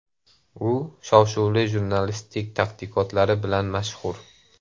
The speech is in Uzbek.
U shov-shuvli jurnalistik tadqiqotlari bilan mashhur.